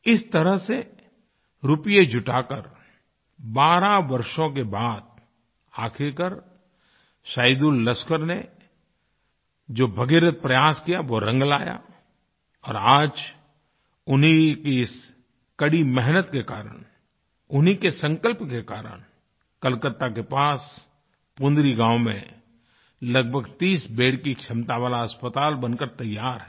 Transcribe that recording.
इस तरह से रूपये जुटाकर 12 वर्षों के बाद आख़िरकार सैदुललस्कर ने जो भागीरथ प्रयास कियावो रंग लाया और आज उन्हीं की इस कड़ी मेहनत के कारण उन्हीं के संकल्प के कारण कोलकाता के पास पुनरी पुनरी गाँव में लगभग 30 बेद की क्षमता वाला अस्पताल बनकर तैयार है